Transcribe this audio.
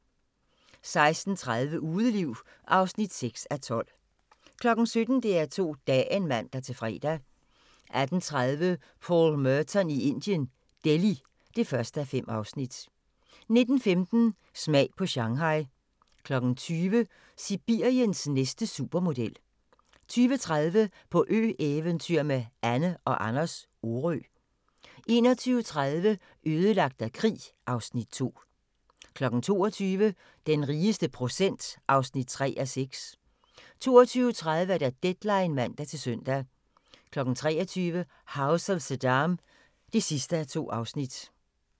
16:30: Udeliv (6:12) 17:00: DR2 Dagen (man-fre) 18:30: Paul Merton i Indien - Delhi (1:5) 19:15: Smag på Shanghai 20:00: Sibiriens næste supermodel 20:30: På ø-eventyr med Anne & Anders - Orø 21:30: Ødelagt af krig (Afs. 2) 22:00: Den rigeste procent (3:6) 22:30: Deadline (man-søn) 23:00: House of Saddam (2:2)